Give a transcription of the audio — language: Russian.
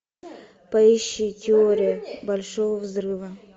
поищи теория большого взрыва